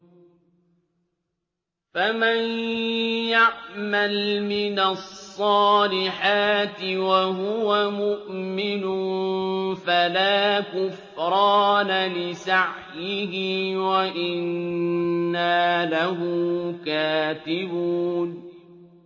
فَمَن يَعْمَلْ مِنَ الصَّالِحَاتِ وَهُوَ مُؤْمِنٌ فَلَا كُفْرَانَ لِسَعْيِهِ وَإِنَّا لَهُ كَاتِبُونَ